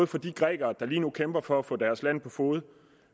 for de grækere der lige nu kæmper for at få deres land på fode